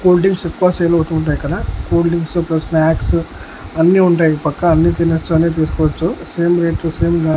Cool drinks ఎక్కువ sale అవుతుంటాయి ఇక్కడ. కూల్ డ్రింక్సు ప్లస్ స్నాక్స్ అన్నీ ఉంటాయి ఈ పక్క అన్నీ తినొచ్చు అన్నీ తీసుకోవచ్చు సేమ్ రేట్ లు సేమ్ బ్రా --